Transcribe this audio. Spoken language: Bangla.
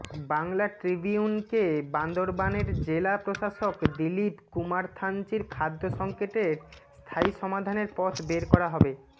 বাংলা ট্রিবিউনকে বান্দরবানের জেলা প্রশাসক দীলিপ কুমারথানচির খাদ্য সংকটের স্থায়ী সমাধানের পথ বের করা হবে